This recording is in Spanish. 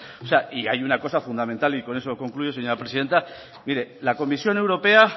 y hay una cosa fundamental y con eso concluyo señora presidenta mire la comisión europea